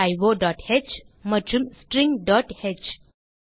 stdioஹ் மற்றும் stringஹ்